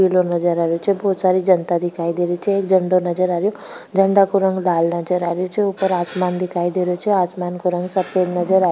पिलो नजर आ रही छे बहोत सारी जनता दिखाई दे रही छे एक झंडो नजर आ रेहो छे झंडा को रंग लाल नजर आ रेहा छे ऊपर आसमान दिखाई दे रेहो छे आसमान को रंग सफ़ेद नज़र आ --